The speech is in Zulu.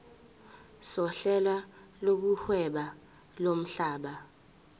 sohlelo lokuhweba lomhlaba